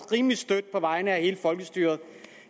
rimelig stødt på vegne af hele folkestyret